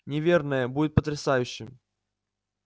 неверное будет потрясающе